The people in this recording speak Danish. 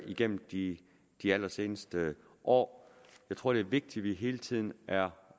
igennem de de allerseneste år jeg tror det er vigtigt at vi hele tiden er